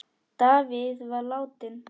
Davíð var látinn.